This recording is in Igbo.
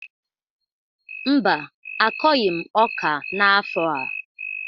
Mba, akọghị m ọka n’afọ a